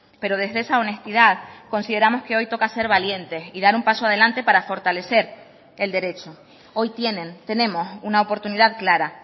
pero desde esa honestidad consideramos que hoy toca ser valientes y dar un paso adelante para fortalecer el derecho hoy tienen tenemos una oportunidad clara